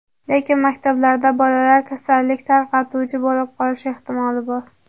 Lekin maktablarda bolalar kasallik tarqatuvchi bo‘lib qolishi ehtimoli bor.